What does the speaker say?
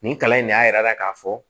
Nin kalan in de y'a yira k'a fɔ